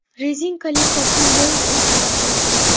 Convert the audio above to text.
Rezinkali kokil doim o‘rtada qolsin.